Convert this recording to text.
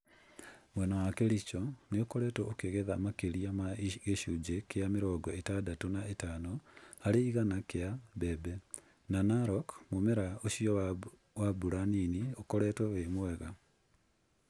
Mwena wa Kericho nĩ ũkoretwo ũkĩgetha makĩria ma gĩcunjĩ kĩa mĩrongo ĩtadatũ na ĩtano harĩ igana kĩa mbembe, na Narok mũmera ũcio wa mbura nini ũkoretwo wĩ mwega.